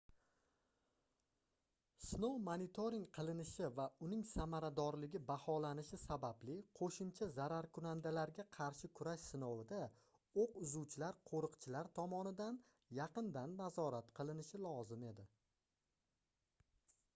sinov monitoring qilinishi va uning samaradorligi baholanishi sababli qoʻshimcha zararkunandalarga qarshi kurash sinovida oʻq uzuvchilar qoʻriqchilar tomonidan yaqindan nazorat qilinishi lozim edi